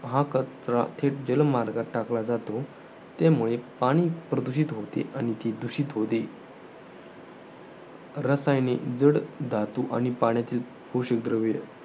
हा कचरा थेट जलमार्गात टाकला जातो. त्यामुळे पाणी प्रदूषित होते. आणि ते दुषित होते. रसायने, जड धातू आणि पाण्याचे पोषक द्रव्ये